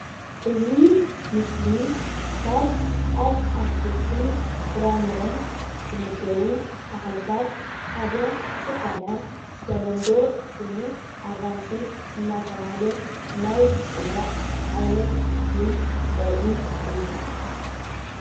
እዚ ምስሊ ካብ አትክልትን ፍራፍረን ሓደ ኮይኑ አራንሺ ይበሃል።